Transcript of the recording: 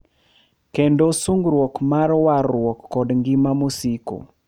Kendo singruok mar warruok kod ngima mosiko ,.